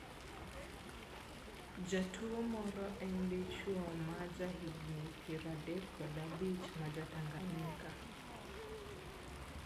jatuo moro en dichuo ma jahigni piero adek kod abich ma ja Tanganyika.